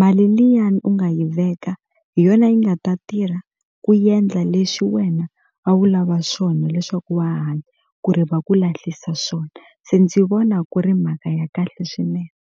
mali liyani u nga yi veka hi yona yi nga ta tirha ku endla leswi wena a wu lava swona leswaku wa ha hanya ku ri va ku lahlisa swona se ndzi vona ku ri mhaka ya kahle swinene.